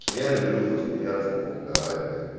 я люблю посмеяться поугарать блять